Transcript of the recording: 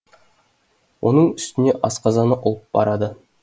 оның үстіне асқазаны ұлып барады